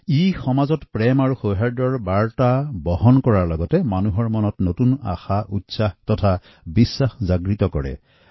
এই উৎসৱে সমাজত প্ৰেমভালপোৱা আৰু সৌহাদ্যপূৰ্ণ বাৰ্তা বিলোৱাৰ সমান্তৰালভাৱে প্ৰতিজন নাগৰিকৰ মনত নতুন আশা উদ্দীপনা আৰু বিশ্বাস জগাই তোলে